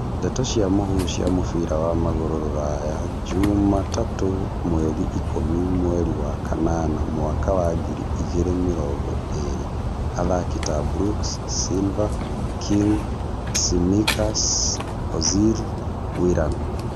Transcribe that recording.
Ndeto cia mũhuhu cia mũbira wa magũrũ Rũraya juma tatũ mweri ikũmi mweri wa kanana mwaka wa ngiri igĩrĩ mĩrongo ĩrĩ athaki ta Brooks, Silva, King, Tsimikas, Ozil, Willian